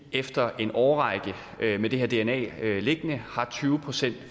efter en årrække med det her dna liggende har tyve procent